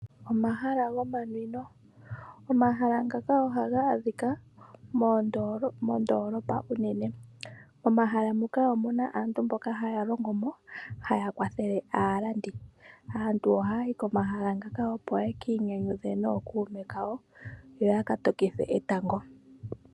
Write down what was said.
Omahala gomanwino, omahala ngaka ohaga adhika moondolopa unene. Momahala muka omu na aantu mboka haya longomo, haya kwathele aalandi. Aantu ohaya yi komahala ngaka opo ye kiinyanyidhe nookuume yawo yo ya ka tokithe etango.